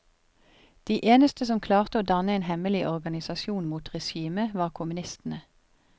De eneste som klarte å danne en hemmelig organisasjon mot regime var kommunistene.